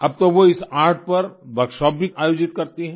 अब तो वो इस आर्ट पर वर्कशॉप्स भी आयोजित करती हैं